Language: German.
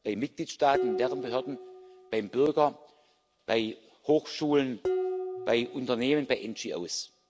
bei Mitgliedstaaten und deren Behörden, beim Bürger, bei Hochschulen, bei Unternehmen, bei NGOs.